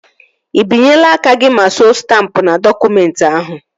Ị binyela aka gị ma suo stampụ n'dọkụmentị ahụ?